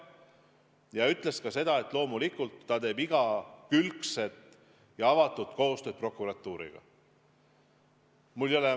Ja ta ütles ka seda, et loomulikult ta teeb igakülgset ja avatud koostööd prokuratuuriga.